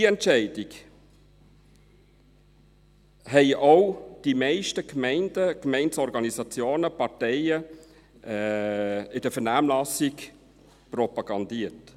Diese Entscheidung haben auch die meisten Gemeinden, Gemeindeorganisationen und Parteien in der Vernehmlassung propagiert.